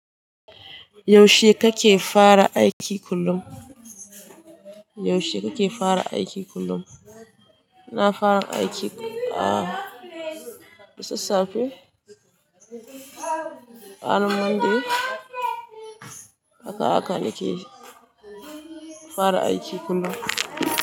Yaushe kake fara aiki kullum? Yaushe kake fara aiki kullum? Na fara aiki a da sassafe, ranar Monday. Haka haka nake fara aiki kullum.